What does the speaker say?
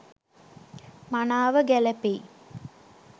මනාව ගැළැපෙයි.